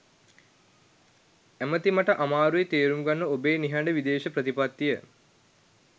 ඇමති මට අමාරුයි තේරුම් ගන්න ඔබේ නිහඬ විදේශ ප්‍රතිපත්තිය.